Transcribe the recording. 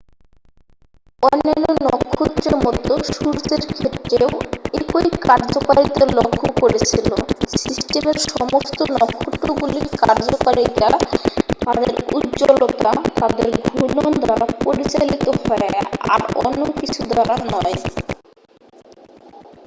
তারা অন্যান্য নক্ষত্রের মতো সূর্যের ক্ষেত্রেও একই কার্যকারিতা লক্ষ্য করেছিল সিস্টেমের সমস্ত নক্ষত্রগুলির কার্যকারিতা তাদের উজ্জ্বলতা তাদের ঘূর্ণন দ্বারা পরিচালিত হয় আর অন্য কিছু দ্বারা নয়